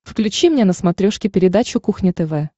включи мне на смотрешке передачу кухня тв